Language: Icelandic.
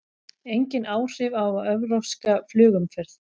Engin áhrif á evrópska flugumferð